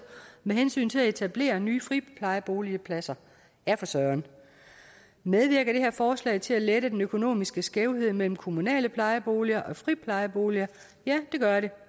med hensyn til at etablere nye friplejeboligpladser ja for søren medvirker det her forslag til at lette den økonomiske skævhed mellem kommunale plejeboliger og friplejeboliger ja det gør det